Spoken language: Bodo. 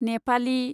नेपालि